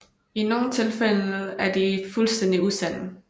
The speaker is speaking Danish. I nogle tilfælde er de fuldstændig usande